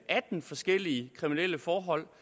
atten forskellige kriminelle forhold